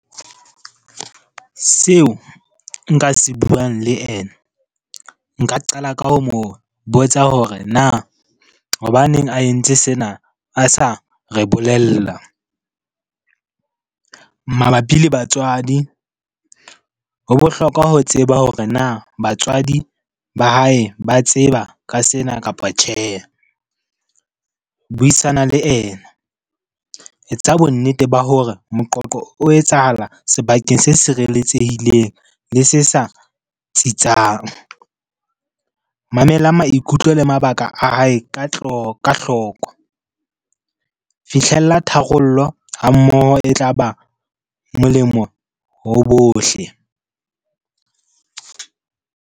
Seo nka se buang le ena, nka qala ka ho mo botsa hore na hobaneng a entse sena a sa re bolella? Mabapi le batswadi, ho bohlokwa ho tseba hore na batswadi ba hae ba tseba ka sena kapa tjhe? Buisana le ena, etsa bonnete ba hore moqoqo o etsahala sebakeng se sireletsehileng le se sa tsitsang. Mamela maikutlo le mabaka a hae ka hloko. Fihlella tharollo ha mmoho e tla ba molemo ho bohle.